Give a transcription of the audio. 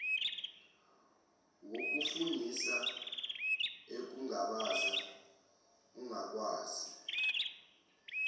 wokufungisa ekungabaza ukungakwazi